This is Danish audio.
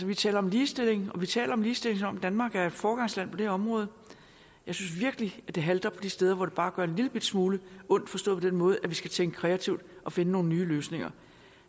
vi taler om ligestilling og vi taler om ligestilling som om danmark er et foregangsland på det her område jeg synes virkelig det halter på de steder hvor det gør bare en lillebitte smule ondt forstået på den måde at vi skal tænke kreativt og finde nogle nye løsninger